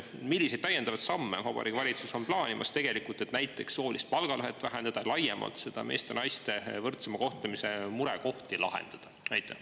Milliseid täiendavaid samme Vabariigi Valitsus on plaanimas, et näiteks soolist palgalõhet vähendada, laiemalt meeste ja naiste võrdsema kohtlemise murekohti lahendada?